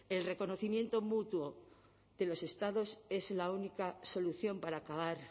el reconocimiento mutuo de los estados es la única solución para acabar